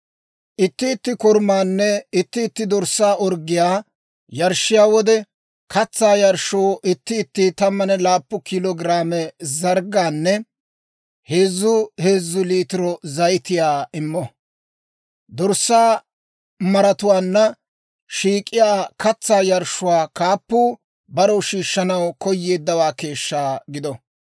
Itti itti korumaanne itti itti dorssaa orggiyaa yarshshiyaa wode, katsaa yarshshoo itti itti 17 kilo giraame zarggaanne heezzu heezzu liitiro zayitiyaa immo. Dorssaa maratuwaanna shiik'iyaa katsaa yarshshuu kaappuu barew shiishshanaw koyeeddawaa keeshshaa gido.